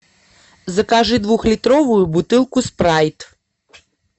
закажи двухлитровую бутылку спрайт